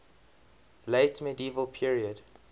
late medieval period